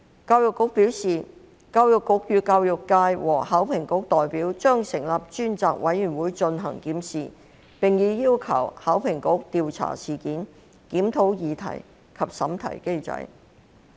教育局表示將與教育界和考評局代表成立專責委員會進行檢視，並已要求考評局調查事件，檢討擬題及審題機制。